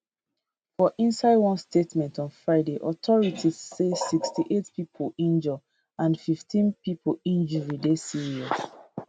for inside one statement on friday authorities say 68 pipo injure and 15 pipo injury dey serious